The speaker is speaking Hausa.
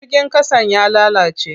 Jirgin ƙasan ya lalace.